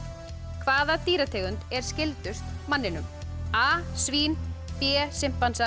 hvaða dýrategund er skyldust manninum a svín b